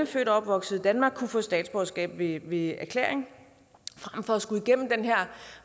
født og opvokset i danmark kunne få statsborgerskab ved ved erklæring frem for at skulle igennem den her